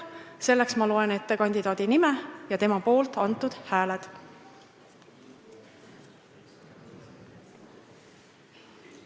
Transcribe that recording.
Selleks ma loen ette kandidaadi nime ja tema poolt antud hääled.